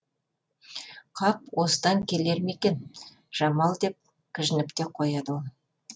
қап осыдан келер ме екен жамал деп кіжініп те қояды ол